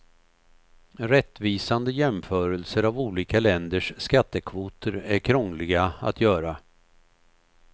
Rättvisande jämförelser av olika länders skattekvoter är krångliga att göra.